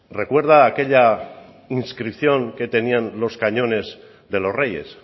recuerda aquella inscripción que tenían los cañones de los reyes